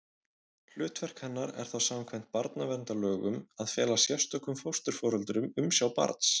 Hlutverk hennar er þá samkvæmt barnaverndarlögum að fela sérstökum fósturforeldrum umsjá barns.